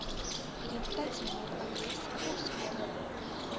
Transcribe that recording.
identiteitsnommer adres poskode